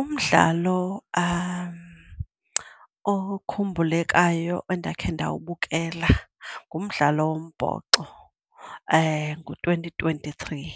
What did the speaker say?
Umdlalo okhumbulekayo endakhe ndawubukela ngumdlalo wombhoxo ngo-twenty twenty-three.